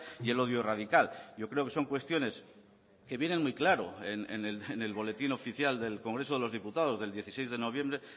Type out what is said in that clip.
y el odio radical yo creo que son cuestiones que vienen muy claro en el boletín oficial del congreso de los diputados del dieciséis de noviembre